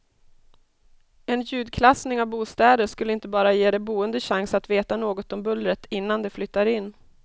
En ljudklassning av bostäder skulle inte bara ge de boende chans att veta något om bullret innan de flyttar in.